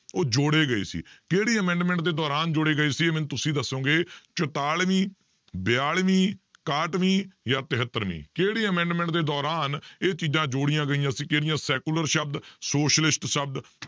ਉਹ ਜੋੜੇ ਗਏ ਸੀ ਕਿਹੜੀ amendment ਦੇ ਦੌਰਾਨ ਜੋੜੇ ਗਏ ਸੀ ਇਹ ਮੈਨੂੰ ਤੁਸੀਂ ਦੱਸੋਗੇ, ਚੁਤਾਲਵੀਂ, ਬਿਆਲਵੀਂ, ਇਕਾਹਠਵੀਂ ਜਾਂ ਤਹੇਤਰਵੀਂ, ਕਿਹੜੀ amendment ਦੇ ਦੌਰਾਨ ਇਹ ਚੀਜ਼ਾਂ ਜੋੜੀਆਂ ਗਈਆਂ ਸੀ ਕਿਹੜੀਆਂ secular ਸ਼ਬਦ socialist ਸ਼ਬਦ